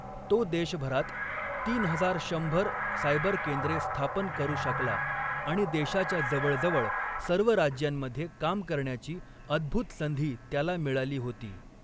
तो देशभरात तीन हजार शंभर सायबर केंद्रे स्थापन करू शकला आणि देशाच्या जवळजवळ सर्व राज्यांमध्ये काम करण्याची अद्भुत संधी त्याला मिळाली होती.